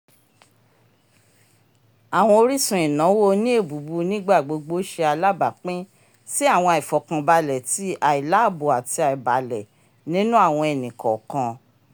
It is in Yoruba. àwọn orísun ìnáwó òní ébubu n'igbagbogbo ṣe alabapin si awọn aifọkanbalẹ ti ailaabo àti aibalẹ nínú àwọn ẹni kọọkan